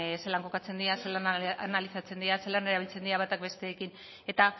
zelan kokatzen dira zelan analizatzen dira zelan erabiltzen diran bata besteekin eta